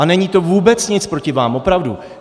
A není to vůbec nic proti vám, opravdu.